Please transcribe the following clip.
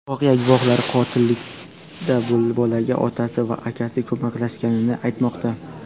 Voqea guvohlari qotillikda bolaga otasi va akasi ko‘maklashganini aytmoqda.